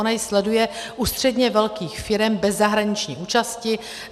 Ona ji sleduje u středně velkých firem bez zahraniční účasti.